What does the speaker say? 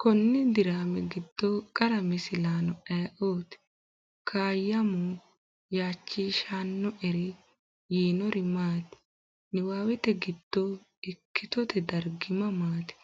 Konni diraami giddo qara misilaano ayeooti? Kaayyamo, “Yaachishannoeri yinori maati? Niwaawete giddo ikkitote dargi mamaati?